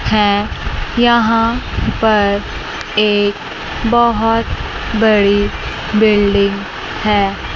हैं यहां पर एक बहोत बड़ी बिल्डिंग है।